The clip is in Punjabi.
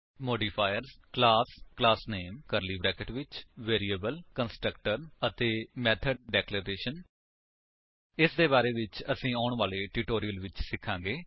modifier - class class name curly brackets ਵਿੱਚ ਵੇਰੀਏਬਲ ਕੰਸਟ੍ਰਕਟਰ ਅਤੇ ਮੈਥਡ ਡਿਕਲੇਰੇਸ਼ਨਜ਼ ਇਨ੍ਹਾਂ ਦੇ ਬਾਰੇ ਵਿੱਚ ਅਸੀ ਆਉਣ ਵਾਲੇ ਟਿਊਟੋਰਿਅਲਸ ਵਿੱਚ ਸਿਖਾਂਗੇ